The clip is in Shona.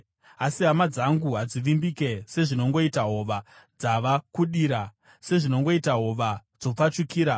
Asi hama dzangu hadzivimbike sezvinongoita hova dzava kudira. Sezvinongoita hova dzopfachukira,